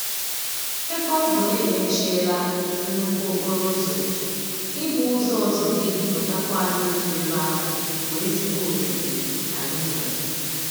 Ebe ọ bụ na-emechiela nnukwu okporo ụzọ, ị gba ụzọ ọzọ ga-eduputakwa anyị otu ebe ahụ bụ ezigbo oghere anyị nwere.